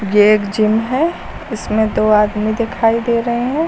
ये एक जिम है इसमें दो आदमी दिखाई दे रहे हैं।